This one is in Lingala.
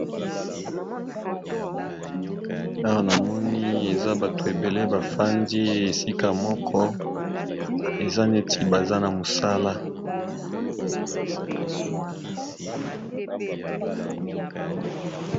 Bato ba fandi esika moko na dako bazo landa mateya ya molakisi. Bazali na computer liboso na bango.